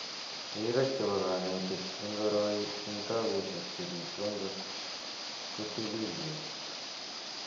Rirek chepo kanetik ing koroi ing tabushek che pitu angot kotilil pek.